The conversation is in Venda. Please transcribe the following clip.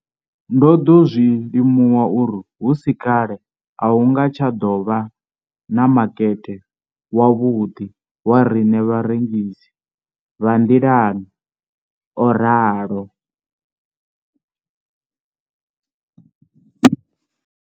Ndo ḓo zwi limuwa uri hu si kale a hu nga tsha ḓo vha na makete wavhuḓi wa riṋe vharengisi vha nḓilani, o ralo.